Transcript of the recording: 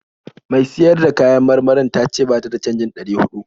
Mai siyar da kayan marmarin ta ce ba ta da canjin ɗari huɗu.